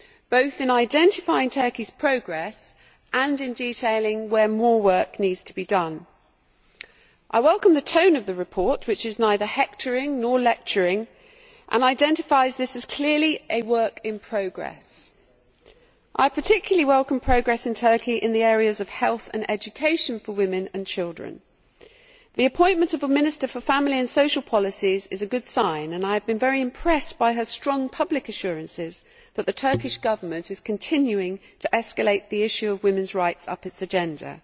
both in identifying Turkey's progress and in detailing where more work needs to be done. I welcome the tone of the report, which is neither hectoring nor lecturing, and identifies this as clearly a work in progress. I particularly welcome progress in Turkey in the areas of health and education for women and children. The appointment of a Minister for Family and Social Policies is a good sign, and I have been very impressed by her strong public assurances that the Turkish Government is continuing to escalate the issue of women's rights up its agenda.